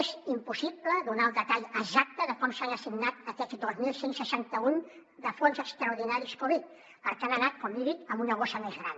és impossible donar el detall exacte de com s’han assignat aquests dos mil cent i seixanta un de fons extraordinaris covid perquè han anat com li dic a una bossa més gran